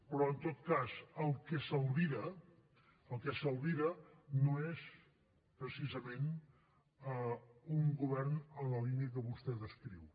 però en tot cas el que s’albira el que s’albira no és precisament un govern en la línia que vostè descriu